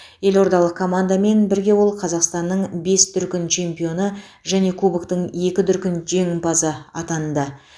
елордалық командамен бірге ол қазақстанның бес дүркін чемпионы және кубоктың екі дүркін жеңімпазы атанды